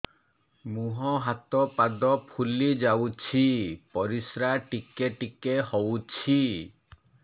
ମୁହଁ ହାତ ପାଦ ଫୁଲି ଯାଉଛି ପରିସ୍ରା ଟିକେ ଟିକେ ହଉଛି